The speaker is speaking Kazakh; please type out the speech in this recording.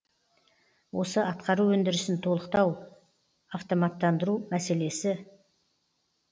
осы атқару өндірісін толықтау автоматтандыру мәселесі